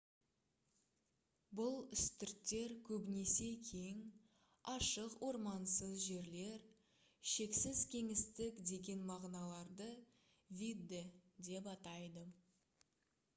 бұл үстірттер көбінесе кең ашық ормансыз жерлер шексіз кеңістік деген мағыналарды «видде» деп атайды